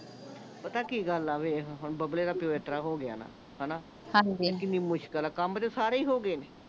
ਪਤਾ ਕੀ ਗੱਲ ਆ ਵੇਖ ਹੁਣ ਬੱਬਲੇ ਦਾ ਪਿਓ ਇਸਤਰਾਂ ਹੋ ਗਿਆ ਹਣਾ ਹਾਂਜੀ ਦੇਖ ਕਿੰਨੀ ਮੁਸ਼ਕਿਲ ਆ ਕੰਮ ਤੇ ਸਾਰੇ ਹੀ ਹੋ ਗਏ